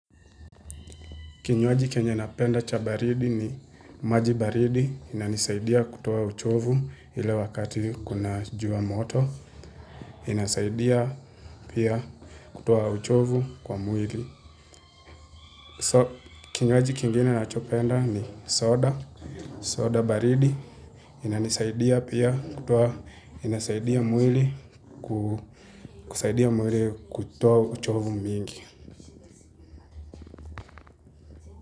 Kinywaji chenye napenda cha baridi ni maji baridi inanisaidia kutoa uchovu ile wakati kuna jua moto. Inasaidia pia kutoa uchovu kwa mwili. Kinywaji kingine nachopenda ni soda. Soda baridi inanisaidia pia kutoa uchovu mingi.